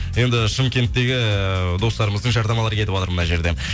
енді шымкенттегі достарымыздың жарнамалары кетіватыр мына жерде